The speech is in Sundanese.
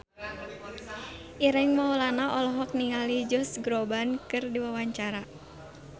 Ireng Maulana olohok ningali Josh Groban keur diwawancara